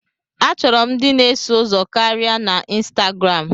Achọrọ m ndị na-eso ụzọ karịa na Instagram.